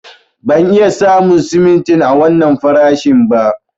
Ban iya samu simintin a wannan farashin ba.